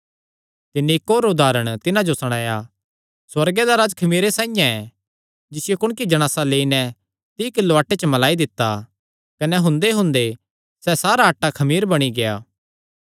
तिन्नी इक्क होर उदारण तिन्हां जो सणाया सुअर्गे दा राज्ज खमीरे साइआं ऐ जिसियो कुणकी जणासा लेई नैं तीई किलो आटे च मलाई दित्ता कने हुंदेहुंदे सैह़ सारा आटा खमीर बणी गेआ